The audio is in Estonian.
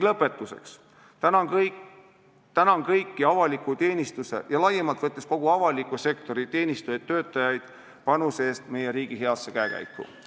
Lõpetuseks aga tänan kõiki avaliku teenistuse ja laiemalt võttes kogu avaliku sektori teenistujaid-töötajaid panuse eest meie riigi heasse käekäiku!